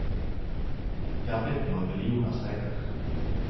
Det er blitt noen millioner streker.